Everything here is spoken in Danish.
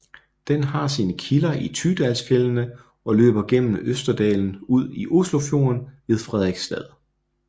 Den har sine kilder i Tydalsfjellene og løber gennem Østerdalen ud i Oslofjorden ved Fredrikstad